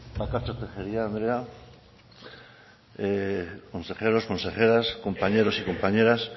bakartxo tejería andrea consejeros consejeras compañeros y compañeras